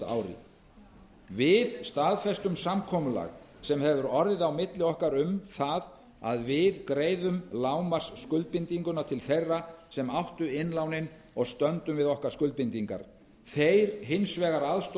ári við staðfestum samkomulag sem hefur orðið á milli okkar um það að við greiðum lágmarksskuldbindinguna til þeirra sem að áttu innlánin og stöndum við okkar skuldbindingar þeir hins vegar